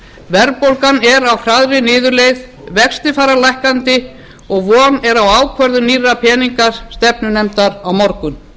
verðbólgan er á hraðri niðurleið vextir fara lækkandi og von er á ákvörðun nýrrar peningastefnunefndar á morgun